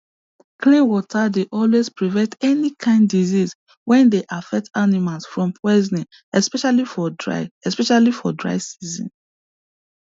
clean water dey always prevent any kind disease wey dey affect animal from possing especially for dry especially for dry season